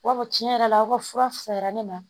I b'a fɔ tiɲɛ yɛrɛ la aw ka fura fisayara ne ma